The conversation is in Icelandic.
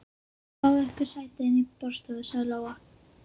Fáið ykkur sæti inni í borðstofu, sagði Lóa.